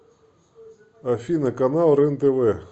афина канал рен тв